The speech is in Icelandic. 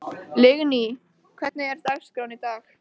Lingný, hvernig er dagskráin í dag?